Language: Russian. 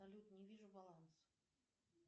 салют не вижу баланс